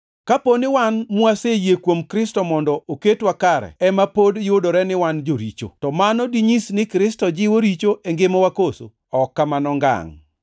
“Kapo ni wan mwaseyie kuom Kristo mondo oketwa kare ema pod yudore ni wan joricho, to mano dinyis ni Kristo jiwo richo e ngimawa koso? Ok kamano ngangʼ!